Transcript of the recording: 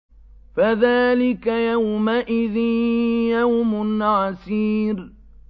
فَذَٰلِكَ يَوْمَئِذٍ يَوْمٌ عَسِيرٌ